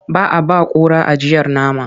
Ba a ba kura ajiyar nama.